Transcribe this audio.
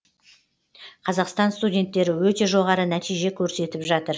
қазақстан студенттері өте жоғары нәтиже көрсетіп жатыр